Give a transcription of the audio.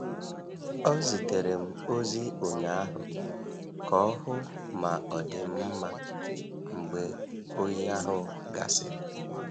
Ọ zitere m ozi ụnyaahụ ka ọ hụ ma ọ dị m mma mgbe oyi ahụ gasịrị.